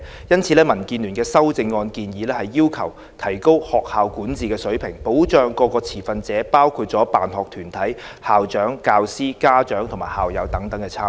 因此，民建聯的修正案建議提高學校管治的水平，保障各持份者包括辦學團體、校長、教師、家長及校友等參與。